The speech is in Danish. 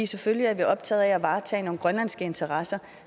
selvfølgelig er vi optaget af at varetage nogle grønlandske interesser